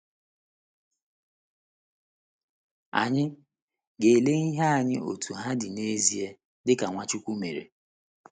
Anyị. ga-ele ihe anya otú ha dị n’ezie, dị ka Nwachukwu mere.